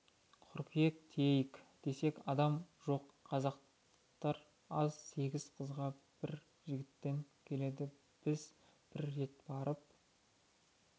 қыркүйек тиейік десек адам жоқ қазақтар аз сегіз қызға бір жігіттен келеді біз бір рет барып